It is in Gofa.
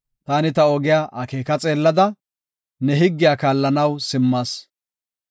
Taani ta ogiya akeeka xeellada, ne higgiya kaallanaw simmas.